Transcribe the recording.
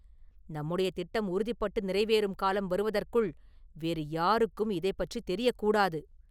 நம்முடைய திட்டம் உறுதிப்பட்டு நிறைவேறும் காலம் வருவதற்குள் வேறு யாருக்கும் இதைப் பற்றித் தெரியக் கூடாது.